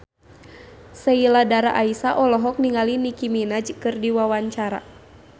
Sheila Dara Aisha olohok ningali Nicky Minaj keur diwawancara